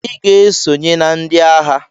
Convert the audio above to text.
Iga esonye na ndi aha!!